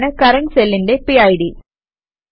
അതാണ് കറന്റ് സെല്ലിന്റെ പിഡ്